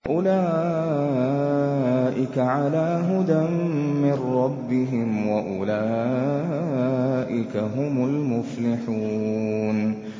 أُولَٰئِكَ عَلَىٰ هُدًى مِّن رَّبِّهِمْ ۖ وَأُولَٰئِكَ هُمُ الْمُفْلِحُونَ